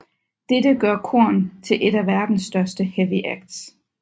Dette gør Korn til et af verdens største heavy acts